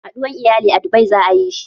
Haɗuwar iyali a Dubai za ayi shi